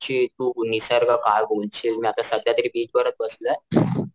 ची निसर्ग तू काय बोलशील मी आता सध्या तरी बीच वरच बसलोय.